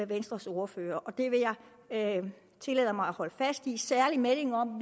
venstres ordfører og det vil jeg tillade mig at holde fast i særlig meldingen om